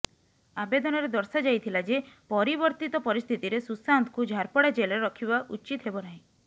ଆବେଦନରେ ଦର୍ଶାଯାଇଥିଲା ଯେ ପରିବର୍ତ୍ତିତ ପରିସ୍ଥିତିରେ ସୁଶାନ୍ତକୁୁ ଝାରପଡା ଜେଲରେ ରଖିବା ଉଚିତ ହେବ ନାହିଁ